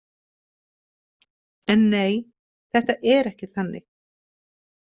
En nei, þetta er ekki þannig.